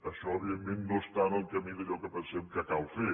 això evidentment no està en el camí d’allò que pensem que cal fer